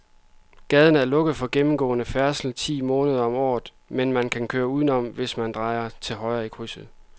Gaden er lukket for gennemgående færdsel ti måneder om året, men man kan køre udenom, hvis man drejer til højre i krydset.